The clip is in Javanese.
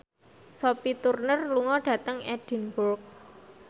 Sophie Turner lunga dhateng Edinburgh